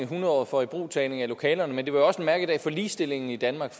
hundredåret for ibrugtagning af lokalerne men det var også en mærkedag for ligestillingen i danmark